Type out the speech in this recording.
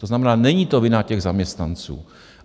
To znamená, není to vina těch zaměstnanců.